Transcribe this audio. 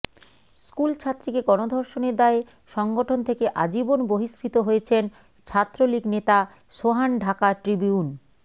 স্কুলছাত্রীকে গণধর্ষণের দায়ে সংগঠন থেকে আজীবন বহিষ্কৃত হয়েছেন ছাত্রলীগ নেতা সোহান ঢাকা ট্রিবিউন